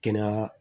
Kɛnɛya